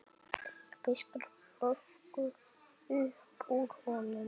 Fiskar flösku upp úr honum.